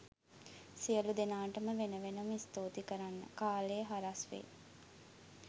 සියළු දෙනාටම වෙන වෙනම ස්තුති කරන්න කාලය හරස් වේ